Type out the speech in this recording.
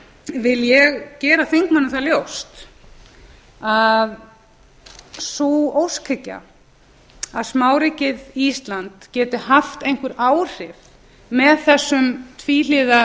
því vil ég gera þingmönnum það ljóst að sú óskhyggju að smáríkið ísland geti haft einhver áhrif með þessum tvíhliða